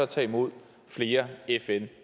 tage imod flere fn